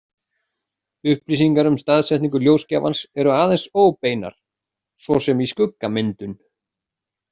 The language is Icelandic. Upplýsingar um staðsetningu ljósgjafans eru aðeins óbeinar, svo sem í skuggamyndun.